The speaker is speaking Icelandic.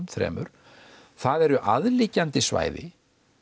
þremur það eru aðliggjandi svæði